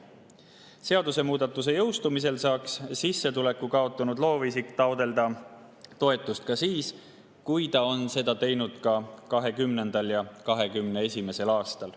Seadusemuudatuse jõustumisel saaks sissetuleku kaotanud loovisik taotleda toetust ka siis, kui ta on seda teinud ka 2020. ja 2021. aastal.